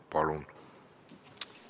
Palun!